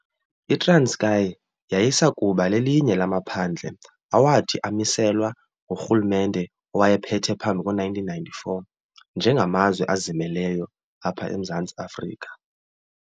ITranskei yayisakuba lelinye lamaphandle awathi amiselwa ngurhulumente owayephethe phambi ko1994 nje ngamazwe azimeleyo apha emZantsi Afrika.